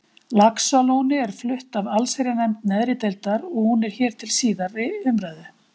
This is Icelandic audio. Laxalóni er flutt af allsherjarnefnd neðri deildar og hún er hér til síðari umræðu.